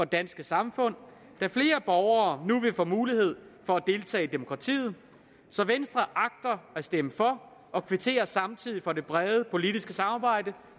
danske samfund da flere borgere nu vil få mulighed for at deltage i demokratiet så venstre agter at stemme for og kvitterer samtidig for det brede politiske samarbejde